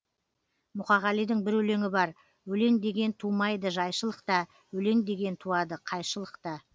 мұқағалидың бір өлеңі бар өлең деген тумайды жайшылықта өлең деген туады қайшылықта